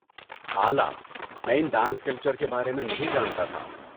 اعلیٰ، میں ان ڈانس کلچر کے بارے میں نہیں جانتا تھا۔